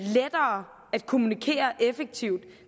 kommunikere effektivt